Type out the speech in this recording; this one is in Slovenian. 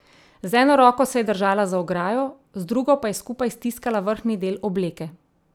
Z eno roko se je držala za ograjo, z drugo pa je skupaj stiskala vrhnji del obleke.